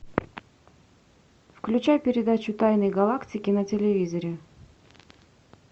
включай передачу тайны галактики на телевизоре